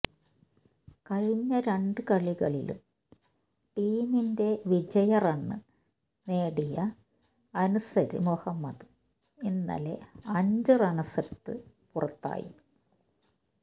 കഴിഞ്ഞ രണ്ട് കളികളിലും ടീമിന്റെ വിജയറണ് നേടിയ അന്സര് മുഹമ്മദ് ഇന്നലെ അഞ്ചു റണ്സെടുത്ത് പുറത്തായി